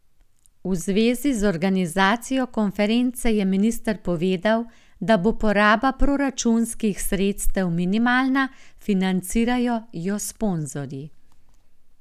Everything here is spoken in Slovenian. V zvezi z organizacijo konference je minister povedal, da bo poraba proračunskih sredstev minimalna, financirajo jo sponzorji.